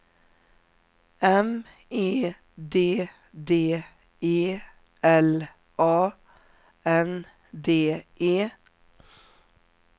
M E D D E L A N D E